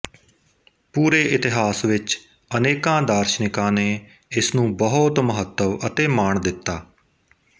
ਪੂਰੇ ਇਤਹਾਸ ਵਿੱਚ ਅਨੇਕਾਂ ਦਾਰਸ਼ਨਿਕਾਂ ਨੇ ਇਸਨੂੰ ਬਹੁਤ ਮਹੱਤਵ ਅਤੇ ਮਾਣ ਦਿੱਤਾ